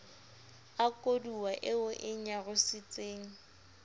a koduwa eo e nyarositseng